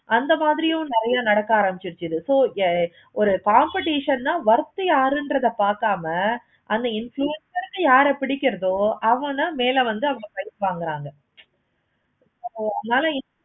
அந்த மாதிரியும் நெறைய நடக்க ஆரம்பிச்சிருச்சு இது so ஒரு competition ஆஹ் worth உ யாருறது பார்க்காம அந்த influencer ருக்கு யாரை புடிக்கிறதோ அவுங்கள தான் வேலை வந்து வாங்குறாங்க. ஓ அதனால